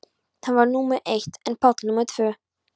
Hann var númer eitt en Páll númer tvö.